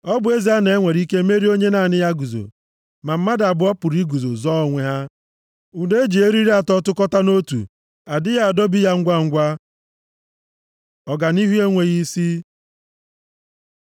Ọ bụ ezie na e nwere ike merie onye naanị ya guzo, ma mmadụ abụọ pụrụ iguzo zọọ onwe ha. Ụdọ e ji eriri atọ tụkọta nʼotu, adịghị adọbi ya ngwangwa. Ọganihu enweghị isi